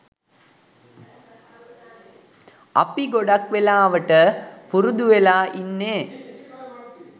අපි ගොඩක් වෙලාවට පුරුදු වෙලා ඉන්නේ